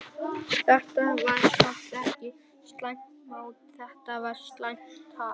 Þetta var samt ekki slæmt mót, þetta var slæmt tap.